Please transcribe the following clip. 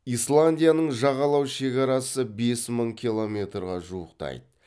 исландияның жағалау шекарасы бес мың километрге жуықтайды